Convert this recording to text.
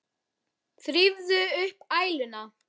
Þrífðu upp æluna.